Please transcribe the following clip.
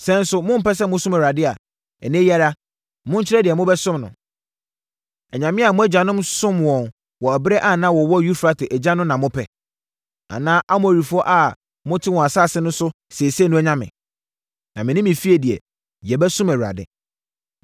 Sɛ nso mompɛ sɛ mosom Awurade a, ɛnnɛ yi ara, monkyerɛ deɛ mobɛsom no. Anyame a mo agyanom somm wɔn wɔ ɛberɛ a na wɔwɔ Eufrate agya no na mopɛ? Anaa Amorifoɔ a mote wɔn asase so seesei no anyame? Na me ne me fie deɛ, yɛbɛsom Awurade.”